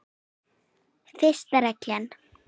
Fyrsta reglan.